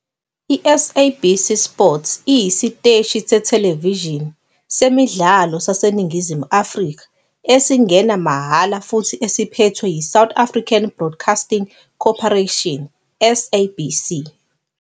I-SABC Sport iyisiteshi sethelevishini semidlalo saseNingizimu Afrika esingena mahhala futhi esiphethwe yiSouth African Broadcasting Corporation, SABC.